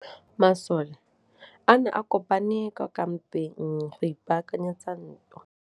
Masole a ne a kopane kwa kampeng go ipaakanyetsa ntwa.